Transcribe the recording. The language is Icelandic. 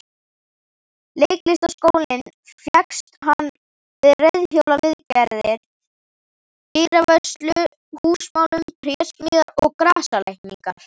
Leiklistarskólann fékkst hann við reiðhjólaviðgerðir, dyravörslu, húsamálun, trésmíðar og grasalækningar.